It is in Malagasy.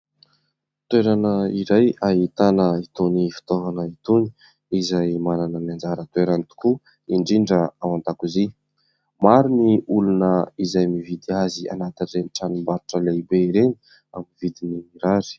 Toerana iray ahitana itony fitaovana itony. Izay manana ny anjara toerany tokoa indrindra ao an-dakozia. Maro ny olona izay mividy azy anatin'ireny tranom-barotra lehibe ireny amin'ny vidiny mirary.